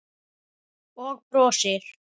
Og brosir.